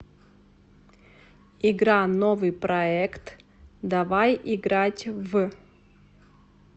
игра новыйпроект давай играть в